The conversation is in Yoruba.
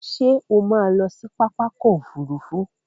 Ṣé o má a lọ sí pápákọ̀ òfurufú.